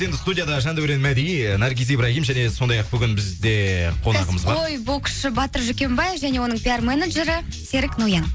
енді студияда жандәурен мәди ііі наргиз ибрагим және сондай ақ бүгін бізде еее қонағымызға кәсіпқой боксшы батыр жукембай және оның пиар менеджері серік ноян